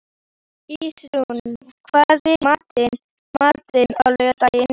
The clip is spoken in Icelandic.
Ísrún, hvað er í matinn á laugardaginn?